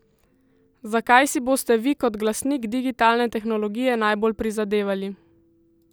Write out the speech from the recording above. Za kaj si boste vi kot glasnik digitalne tehnologije najbolj prizadevali?